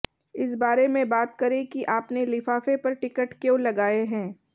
इस बारे में बात करें कि आपने लिफाफे पर टिकट क्यों लगाए हैं